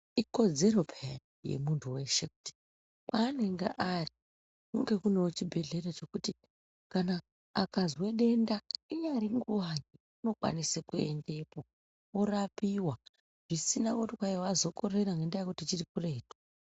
Ikodzero peyani yemundu weshe kuti kwaanenge ari kunge kunewo chibhedhlera chekuti kana akazwe denda inyari nguwa unokwanise kuendepo orapiwa zvisina kuti kwai wazokorera ngendaa yekuti chiri kuretu.